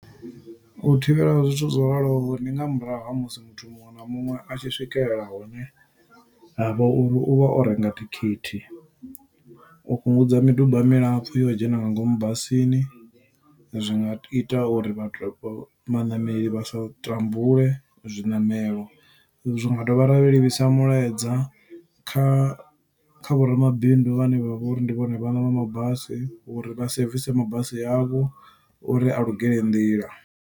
U thivhela zwithu zwo raloho, ndi nga murahu ha musi muthu muṅwe na muṅwe a tshi swikelela hune ha vha uri u vha o renga thikhithi. U fhungudza miduba milapfu yo u dzhena nga ngomu basini, zwi nga ita uri vhathu vhaṋameli vha sa tambule zwiṋamelo. Zwi nga dovha ra livhisa mulaedza kha kha vho ramabindu vhane vha vha uri ndi vhone vhaṋe vha mabasi uri vha sevise mabasi avho, uri a lugele nḓila.